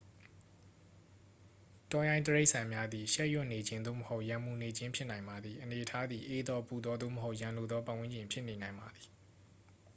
တောရိုင်းတိရစ္ဆာန်များသည် ရှက်ရွံ့နေခြင်း သို့မဟုတ် ရန်မူနေခြင်း ဖြစ်နိုင်ပါသည် အနေအထားသည် အေးသော ပူသော သို့မဟုတ် ရန်လိုသောပတ်ဝန်းကျင် ဖြစ်နေနိုင်ပါသည်